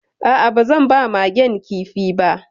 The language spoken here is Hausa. A'a, ba zan ba Magen kifi ba